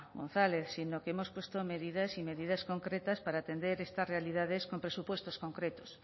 gonzález sino que hemos puesto medidas y medidas concretas para atender estas realidades con presupuestos concretos